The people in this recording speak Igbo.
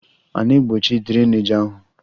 A na-egbochi drainage ahụ?